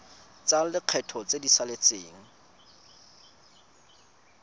tsa lekgetho tse di saletseng